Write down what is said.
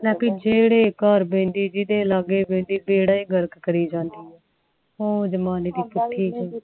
ਲੈ ਬੀ ਜਿਹੜੇ ਘਰ ਬਹਿੰਦੀ ਜਿੰਦੇ ਲਗੇ ਬਹਿੰਦੀ ਬੇੜਾ ਏ ਗਰਕ ਕਰਿ ਜਾਂਦੀ